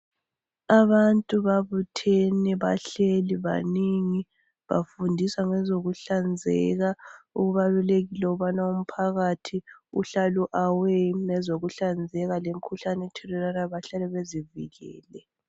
Abantu babuthene bahleli baningi bafundiswa ngezokuhlanzeka kubalulekile ukuthi umphakathi uhlale u awe ngezokuhlanzeka lemikhuhlane ethelelwanayo bahlale bezivikele.